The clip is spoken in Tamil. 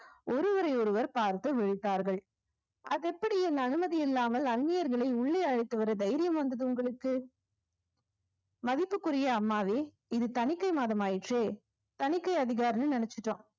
ஒருவரை ஒருவர் பார்த்து விழித்தார்கள் அது எப்படி என் அனுமதி இல்லாமல் அந்நியர்களை உள்ளே அழைத்து வர தைரியம் வந்தது உங்களுக்கு மதிப்பிற்குரிய அம்மாவே இது தணிக்கை மாதம் ஆயிற்றே தணிக்கை நினைச்சுட்டோம்